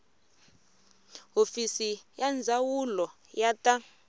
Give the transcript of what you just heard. hofisi ya ndzawulo ya ta